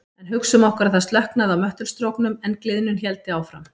En hugsum okkur að slökknaði á möttulstróknum en gliðnun héldi áfram.